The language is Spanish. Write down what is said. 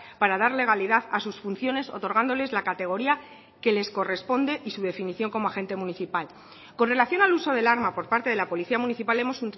para dar legalidad a sus funciones otorgándoles la categoría que les corresponde y su definición como agente municipal con relación al uso del arma por parte de la policía municipal hemos